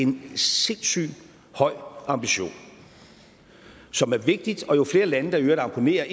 en sindssygt høj ambition som er vigtig og jo flere lande der i øvrigt abonnerer